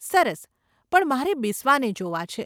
સરસ, પણ મારે બિસ્વાને જોવા છે.